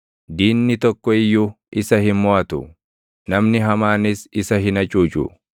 Diinni tokko iyyuu isa hin moʼatu; namni hamaanis isa hin hacuucu.